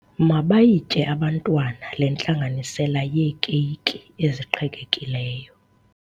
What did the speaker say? Mabayitye abantwana le ntlanganisela yeekeyiki eziqhekekileyo.